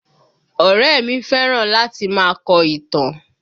Ọ̀rẹ́ ẹ mi fẹ́ràn láti máa kọ ìtàn